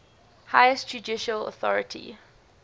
highest judicial authority